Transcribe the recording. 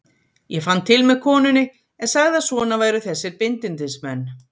Ég fann til með konunni en sagði að svona væru þessir bindindismenn.